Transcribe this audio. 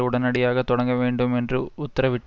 உடனடியாக தொடங்க வேண்டும் என்றும் உத்தரவிட்ட